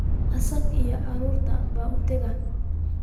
Isaga iyo carruurtii buu u tegey